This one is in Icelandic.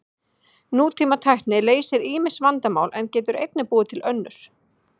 Nútímatækni leysir ýmis vandamál en getur einnig búið til önnur.